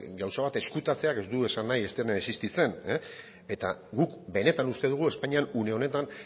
gauza bat ezkutatzeak ez du esan nahi ez dena existitzen eta guk benetan uste dugu espainian une honetan